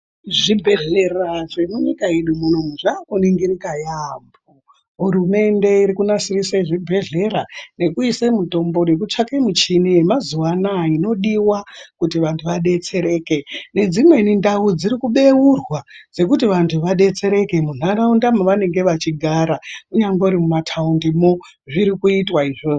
Zvibhehlera zvenyika yedu muno zvakuningirika yaamho, hurumende irikunasirise zvibhehlera nekuise mitombo nekutsvake michini yemazuwa ano aya inodiwa kuti vanhu vadetsereke nedzimweni ndau dziri kubeurwa dzekuti vanhu vadetsereke munharaunda mevanenge vechiigara munyambori mumataundimwo zvirikuitwa izvozvo.